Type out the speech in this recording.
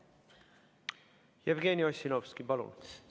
Jevgeni Ossinovski, palun!